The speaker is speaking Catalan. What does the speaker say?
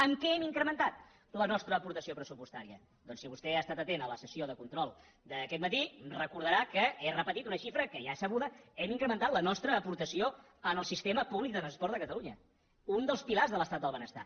en què hem incrementat la nostra aportació pressupostària doncs si vostè ha estat atent a la sessió de control d’aquest matí recordarà que he repetit una xifra que ja és sabuda hem incrementat la nostra aportació al sistema públic de transport de catalunya un dels pilars de l’estat del benestar